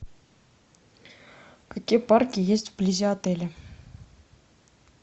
какие парки есть вблизи отеля